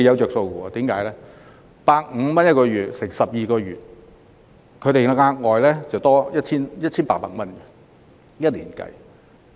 若把每月150元乘以12個月，外傭每年便可額外多獲 1,800 元。